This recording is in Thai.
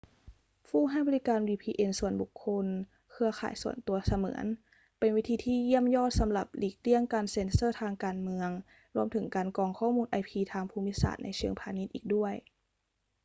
ผู้ให้บริการ vpn ส่วนบุคคล เครือข่ายส่วนตัวเสมือน เป็นวิธีที่เยี่ยมยอดสำหรับหลีกเลี่ยงการเซ็นเซอร์ทางการเมือง รวมถึงการกรองข้อมูล ip ทางภูมิศาสตร์ในเชิงพาณิชย์อีกด้วย